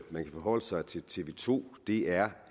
man kan forholde sig til tv to er